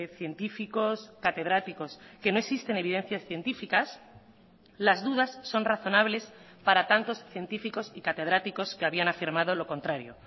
científicos catedráticos que no existen evidencias científicas las dudas son razonables para tantos científicos y catedráticos que habían afirmado lo contrario